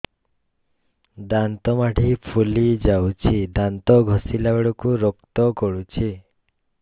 ଦାନ୍ତ ମାଢ଼ୀ ଫୁଲି ଯାଉଛି ଦାନ୍ତ ଘଷିଲା ବେଳକୁ ରକ୍ତ ଗଳୁଛି